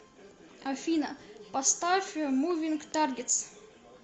афина поставь мувинг таргетс